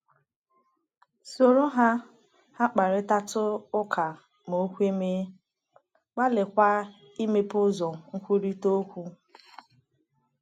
“ Soro ha ha kparịtatụ ụka ma o kwe mee, gbalịkwa imepe ụzọ nkwurịta okwu.